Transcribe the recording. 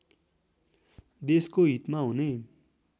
देशको हितमा हुने